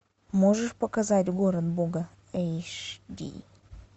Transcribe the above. можешь показать город бога эйч ди